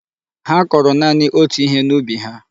Ha koro naanị otú ihe n'ubi ha.